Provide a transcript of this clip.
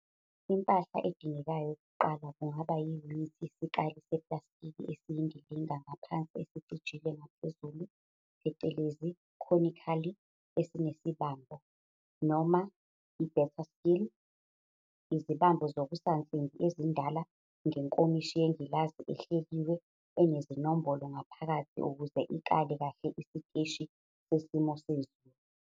Impahla edingekayo ukuqala kungaba yiyunithi yesikali seplastiki esiyindilinga ngaphansi esicijile ngaphezulu phecelezi conically esinesibambo, noma i-better still, izibambo zokusansimbi ezindala ngenkomishi yengilazi ehleliwe enezinombolo ngaphakathi ukuze ikale kahle isiteshi sesimo sezulu.